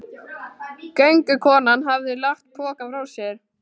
Göngukonan hafði lagt pokann frá sér.